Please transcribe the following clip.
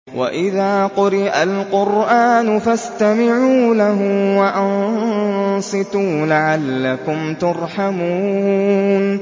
وَإِذَا قُرِئَ الْقُرْآنُ فَاسْتَمِعُوا لَهُ وَأَنصِتُوا لَعَلَّكُمْ تُرْحَمُونَ